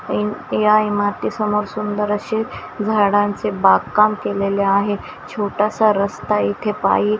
या इमारतीसमोर सुंदर असे झाडांचे बागकाम केलेले आहे छोटासा रस्ता येथे पायी--